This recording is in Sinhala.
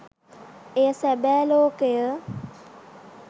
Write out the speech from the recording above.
එය සැබෑ ලෝකය